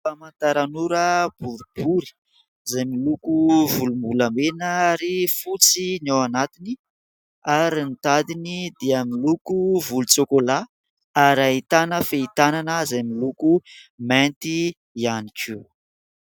Famantaran'ora boribory izay miloko volombolamena ary fotsy ny ao anatiny ary ny tadiny dia miloko volontsokolà ary ahitana fehin-tanana izay miloko mainty ihany koa.